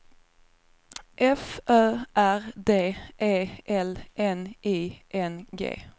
F Ö R D E L N I N G